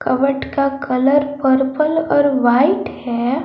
Cupboard का colour purple और white है।